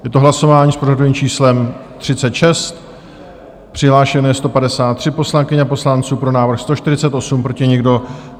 Je to hlasování s pořadovým číslem 36, přihlášeno je 153 poslankyň a poslanců, pro návrh 148, proti nikdo.